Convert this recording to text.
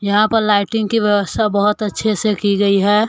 यहां पर लाइटिंग की व्यवस्था बहोत अच्छे से की गई है।